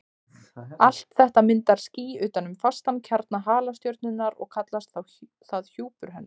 Allt þetta myndar ský utan um fastan kjarna halastjörnunnar og kallast það hjúpur hennar.